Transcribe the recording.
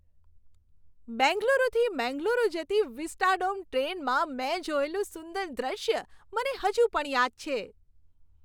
બેંગલુરુથી મેંગલુરુ જતી વિસ્ટાડોમ ટ્રેનમાં મેં જોયેલું સુંદર દૃશ્ય મને હજુ પણ યાદ છે.